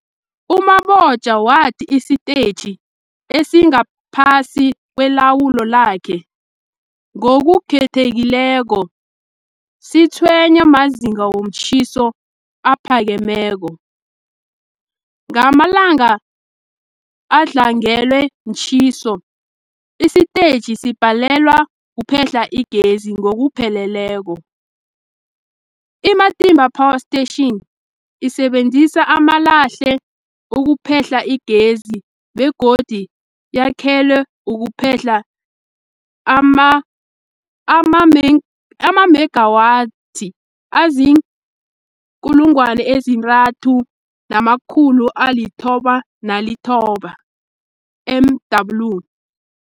U-Mabotja wathi isitetjhi esingaphasi kwelawulo lakhe, ngokukhethekileko, sitshwenywa mazinga womtjhiso aphakemeko. Ngamalanga adlangelwe mtjhiso, isitetjhi sibhalelwa kuphehla igezi ngokupheleleko. I-Matimba Power Station isebenzisa amalahle ukuphehla igezi begodu yakhelwe ukuphehla amamegawathi azii-3990 MW.